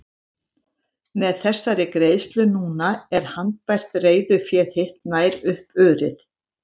Með þessari greiðslu núna er handbært reiðufé þitt nær upp urið.